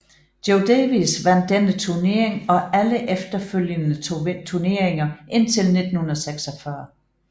Joe Davis vandt denne turnering og alle efterfølgende turneringer indtil 1946